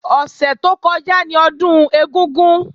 Ọ̀sẹ̀ tó kọjá ni Ọdún ẹ̀gúngún